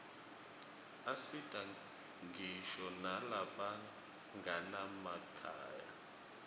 asita ngisho nalabanganamakhaya